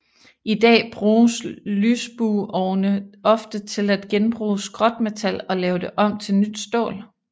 I dag bruges lysbueovne ofte til at genbruge skrotmetal og lave det om til nyt stål